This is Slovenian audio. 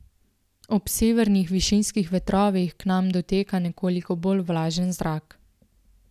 Ob severnih višinskih vetrovih k nam doteka nekoliko bolj vlažen zrak.